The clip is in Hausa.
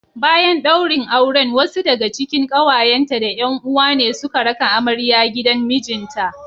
Bayan daurin auren wasu daga cikin kawayenta da 'yan uwa ne suka raka amarya gidan mijinta